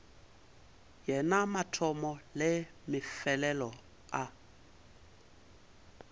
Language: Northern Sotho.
yena mathomo le mefelelo a